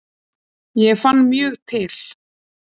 Ég fann mjög til.